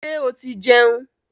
Ṣé o ti jẹun?